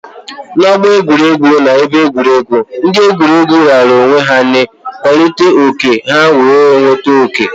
N'ọgbọ egwuregwu na ebe egwuregwu, ndị egwuregwu raara onwe ha nye kwalitere oke ha wee nweta oke.